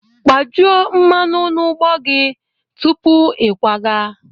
Kpajuo mmanụ na ụgbọ gị tupu ịkwaga!